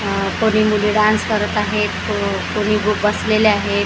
अ कोणी मुली डान्स करत आहेत व को कोणी बसलेल्या आहेत.